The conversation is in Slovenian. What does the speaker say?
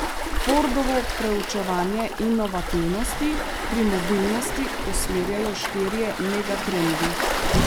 Fordovo preučevanje inovativnosti pri mobilnosti usmerjajo štirje megatrendi.